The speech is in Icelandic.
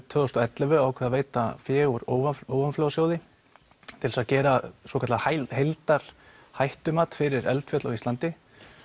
tvö þúsund og ellefu ákveðið að veita fé úr ofanflóðasjóði til þess að gera svokallað heildarhættumat fyrir eldfjöll á Íslandi